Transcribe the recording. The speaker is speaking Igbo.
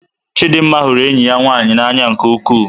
Chidinma hụrụ enyi ya nwanyị n'anya nke ukwuu.